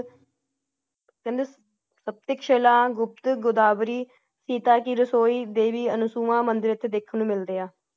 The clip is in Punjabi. ਕਹਿੰਦੇ ਸ਼ੀਲਾ, ਗੁਪਤ ਗੋਦਾਵਰੀ, ਸੀਤਾ ਕਿ ਰਸੋਈ, ਦੇਵੀ ਅਨੁਸੁਵਾ ਅੰਦਿਰ ਐਥੇ ਦੇਖਣ ਨੂੰ ਮਿਲਦੇ ਹਾ ।